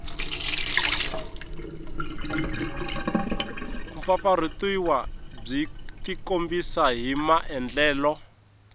kumpfampfarhutiwa byi tikombisa hi maandlalelo